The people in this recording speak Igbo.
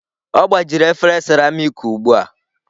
Ọ gbajiri efere seramiiki ugbu a.